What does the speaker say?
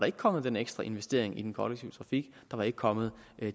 ikke kommet den ekstra investering i den kollektive trafik der var ikke kommet